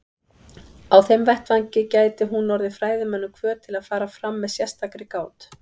Á þeim vettvangi gæti hún orðið fræðimönnum hvöt til að fara fram með sérstakri gát.